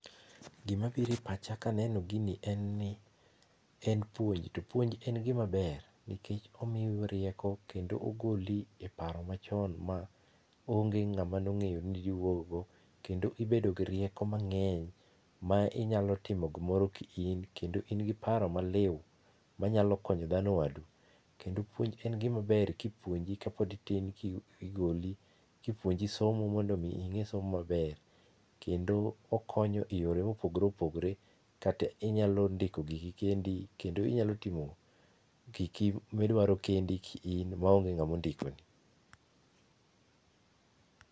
Gimabire pacha kaneno gini en ni en puonj, to puonj en gima ber nikech omiyou rieko kendo ogoli e paro machon maonge ng'ama nong'eyo ni diwuoggo kendo ibedo gi rieko mang'eny ma inyalo timo gimoro ki in kendo in gi paro maliu manyalo konyo dhano wadu. Kendo puonj en gima ber kipuonji ka pod itin kigoli kipuonji somo mondomii ing'e somo maber kendo okonyo e yore mopogore opogore kata inyalo ndiko giki kendi kendo inyalo timo giki midwaro kendi ki in maonge ng'amo ndikoni.